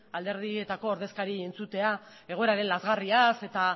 alderdietako ordezkariei entzutea egoera den lazgarriaz eta